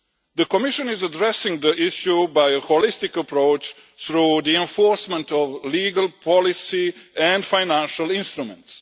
The Commission is addressing the issue by a holistic approach through the enforcement of legal policy and financial instruments.